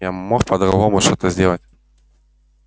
я мог по-другому что-то сделать